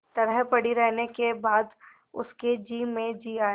तरह पड़ी रहने के बाद उसके जी में जी आया